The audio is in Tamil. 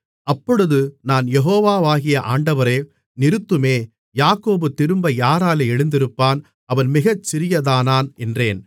அப்பொழுது நான் யெகோவாகிய ஆண்டவரே நிறுத்துமே யாக்கோபு திரும்ப யாராலே எழுந்திருப்பான் அவன் மிகச் சிறியதானான் என்றேன்